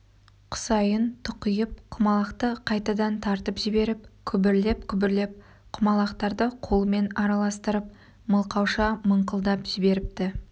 құсайын тұқиып құмалақты қайтадан тартып жіберіп күбірлеп-күбірлеп құмалақтарды қолымен араластырып мылқауша мыңқылдап жіберіпті